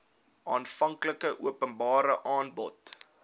aanvanklike openbare aanbod